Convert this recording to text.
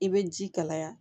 I bɛ ji kalaya